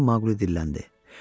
deyə birdən Maquli dilləndi.